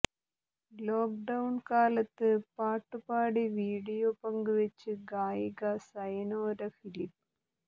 lockdown കാലത്ത് പാട്ടു പാടി വിഡിയോ പങ്കുവച്ച് ഗായിക സയനോര ഫിലിപ്പ്